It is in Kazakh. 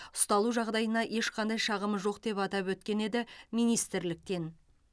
ұсталу жағдайына ешқандай шағымы жоқ деп атап өткен еді министрліктен